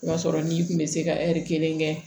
N'a sɔrɔ n'i kun bɛ se ka kelen kɛ